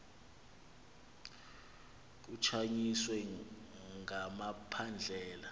kukhanyiswe nga makhandlela